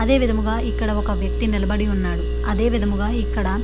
అదే విధముగా ఇక్కడ ఒక వ్యక్తి నిలబడి ఉన్నాడ. అదే విధముగా ఇక్కడ --